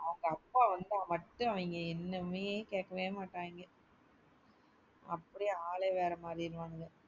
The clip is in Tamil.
அவங்க அப்பா வந்தா மட்டு அவங்க எண்ணமே கேக்கவே மாட்டாயங்க அப்டியே ஆளே வேற மாறிடுவாய்ங்க.